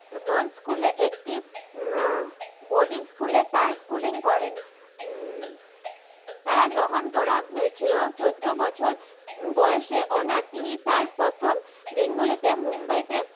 বিরথ school এ একটি boarding school এ তার সছুলিং করেন তার ভ্রমন করা হয়েছিলো চদ্দ বছর বয়সে একটি অনাথ